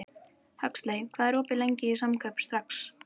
Huxley, hvað er opið lengi í Samkaup Strax?